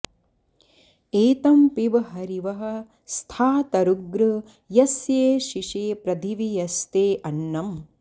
ए॒तं पि॑ब हरिवः स्थातरुग्र॒ यस्येशि॑षे प्र॒दिवि॒ यस्ते॒ अन्न॑म्